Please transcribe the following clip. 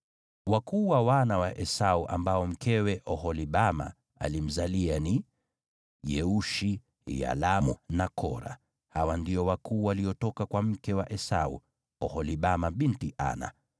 Wakuu wa wana wa Esau ambao mkewe Oholibama alimzalia ni: Yeushi, Yalamu na Kora. Hawa ndio wakuu waliotoka kwa mke wa Esau, Oholibama binti Ana.